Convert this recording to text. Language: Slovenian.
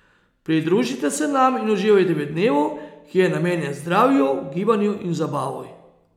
Pridružite se nam in uživajte v dnevu, ki je namenjen zdravju, gibanju in zabavi.